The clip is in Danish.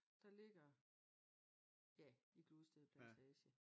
Der ligger ja i Gludsted plantage